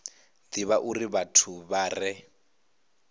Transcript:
divha uri vhathu vha re